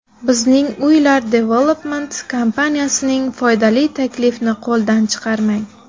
Bizning Uylar Development kompaniyasining foydali taklifini qo‘ldan chiqarmang.